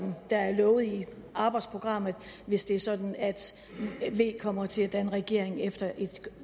der er lovet i arbejdsprogrammet hvis det er sådan at v kommer til at danne regering efter et